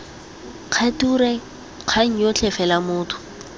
kgature kgang yotlhe fela motho